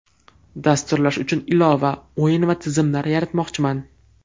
Dasturlash uchun ilova, o‘yin va tizimlar yaratmoqchiman.